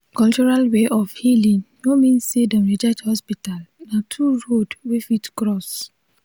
cultural way of healing no mean say dem reject hospital na two road wey fit cross.